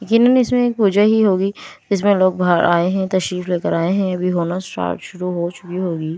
यकीनन इसमें एक पूजा ही होगी इसमें लोग बाहर आए हैं तशरीफ लेकर आए हैं अभी होना स्टार्ट शुरू हो चुकी होगी --